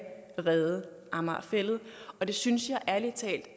redde amager fælled og det synes jeg ærlig talt